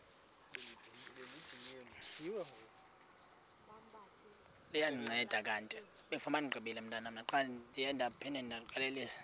liya ndinceda kanti